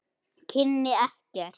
Kynni ekkert.